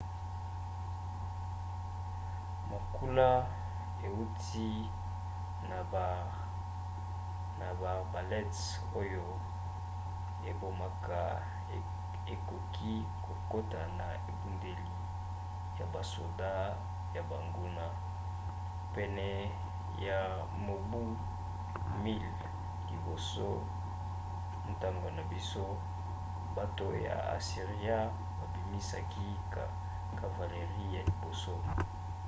makula euti na baarbalètes oyo ebomaka ekoki kokota na ebundeli ya basoda ya banguna. pene ya mobu 1000 liboso ya ntango na biso bato ya asiria babimisaki cavalerie ya liboso